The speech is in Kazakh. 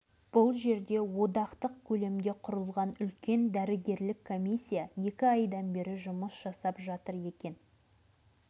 мұндағы ауыл басшылары біздің сапарымыздың мән-жайын түсінгеннен кейін ауылдың мектеп үйіне алып келді